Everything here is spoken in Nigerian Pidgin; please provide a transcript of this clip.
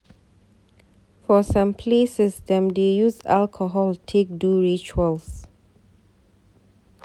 For some places, dem dey use alcohol take do rituals.